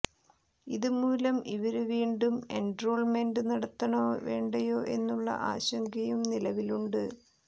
ഇത് മൂലം ഇവര് വീണ്ടും എന്ട്രോള്മെന്റ് നടത്തണൊ വേണ്ടയൊ എന്നുളള ആശങ്കയും നിലവിലുണ്ട്